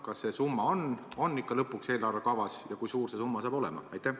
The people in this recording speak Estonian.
Kas see summa ikka jõuab lõpuks eelarvekavasse ja kui suur see summa olema saab?